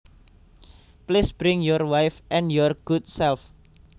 Please bring your wife and your good self